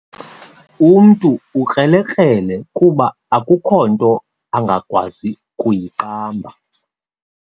Umntu ukrelekrele kuba akukho nto angakwazi kuyiqamba.